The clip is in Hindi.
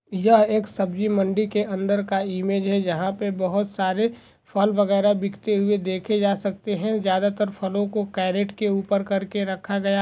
यह एक सब्जी मंडी के अंदर का इमेज है जहा पे बहुत सारे फल वगैरा बिकते हुए देखे जा सकते है ज्यादा तर फलों को केरेट के ऊपर करके रखा गया--